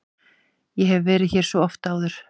Ég hef verið hér svo oft.